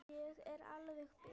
Ég er alveg bit!